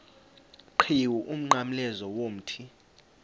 qhiwu umnqamlezo womthi